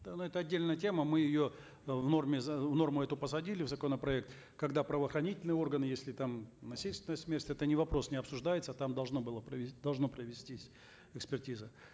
ну это отдельная тема мы ее э в норме норму эту посадили в законопроект когда правоохранительные органы если там насильственная смерть это не вопрос не обсуждается там должно было должна провестись экспертиза